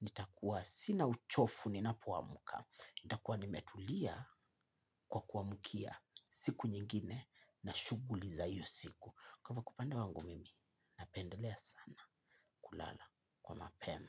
Nitakuwa sina uchovu ninapoamka. Nitakuwa nimetulia kwa kuamkia siku nyingine na shughuli za hiyo siku. Kwa upande wangu mimi, napendelea sana kulala kwa mapema.